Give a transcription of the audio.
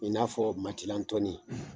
I n'a fɔ matilantɔnni.